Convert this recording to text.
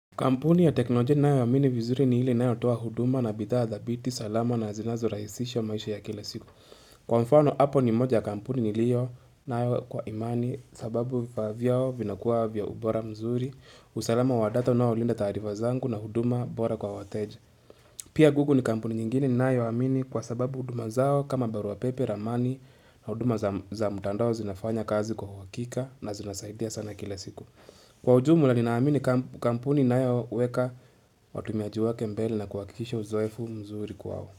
Kampuni ya teknolojia ninayoamini vizuri ni ile inayotoa huduma na bidhaa thabiti salama na zinazorahisisha maisha ya kila siku. Kwa mfano, hapo ni moja ya kampuni niliyonayo kwa imani sababu vifaa vyao vinakuwa vya ubora mzuri. Usalama wa data unaolinda taarifa zangu na huduma bora kwa wateja. Pia google ni kampuni nyingine ninayoamini kwa sababu huduma zao kama barua pepe ramani na huduma za mtandao zinafanya kazi kwa uhakika na zinasaidia sana kila siku. Kwa ujumla ninaamini kampuni inayoweka watumiaji wake mbele na kuhakikisha uzoefu mzuri kwao.